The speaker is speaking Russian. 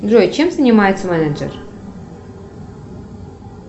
джой чем занимается менеджер